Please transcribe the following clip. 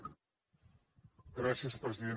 gràcies president